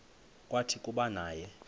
kwathi kuba naye